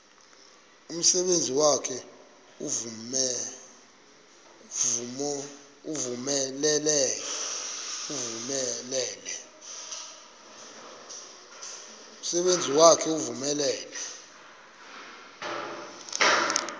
umsebenzi wakhe ewunonelele